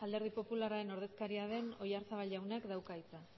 alderdi popularraren ordezkaria den oyarzabal jaunak dauka hitza